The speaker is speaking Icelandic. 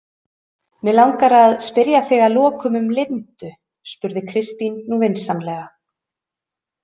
Mig langar að spyrja þig að lokum um Lindu, spurði Kristín nú vinsamlega.